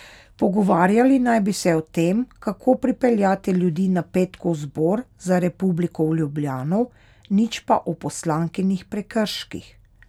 Pogovarjali naj bi se o tem, kako pripeljati ljudi na petkov Zbor za republiko v Ljubljano, nič pa o poslankinih prekrških.